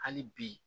Hali bi